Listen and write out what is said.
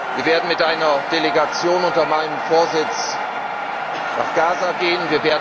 Wir werden mit einer Delegation unter meinem Vorsitz nach Gaza reisen.